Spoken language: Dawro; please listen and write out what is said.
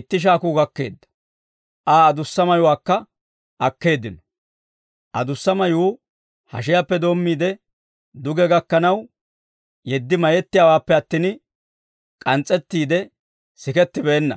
itti shaakuu gakkeedda. Aa adussa mayuwaakka akkeeddino; adussa mayuu hashiyaappe doommiide, duge gakkanaw yeddi mayettiyaawaappe attin, k'ans's'ettiide sikettibeenna.